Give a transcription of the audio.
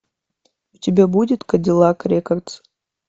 у тебя будет кадиллак рекордс